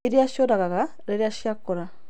Iria ciũragaga rĩrĩa ciakũra.